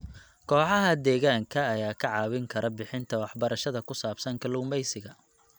Kooxaha deegaanka ayaa kaa caawin kara bixinta waxbarashada ku saabsan kalluumeysiga.